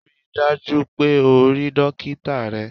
Rí i dájú o pé o rí dókítá rẹ!